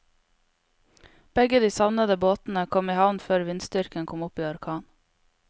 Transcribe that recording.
Begge de savnede båtene kom i havn før vindstyrken kom opp i orkan.